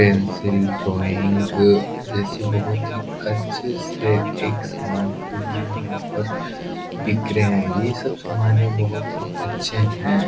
Pencil drawing जैसे बहुत ही अच्छे से एक सामान के लिए यहाँ पर बिक रहें हैं। ये सब सामान यहाँ बहुत ही अच्छे है।